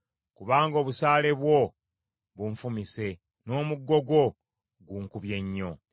Kubanga obusaale bwo bunfumise, n’omuggo gwo gunkubye nnyo.